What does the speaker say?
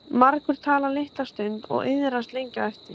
Margur talar litla stund og iðrast lengi á eftir.